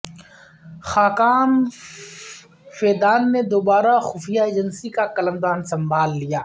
Khaqan Fidan نے دوبارہ خفیہ ایجنسی کا قلمدان سنبھال لیا